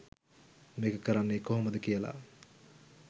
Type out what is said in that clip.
මේක කරන්නේ කොහොමද කියලා.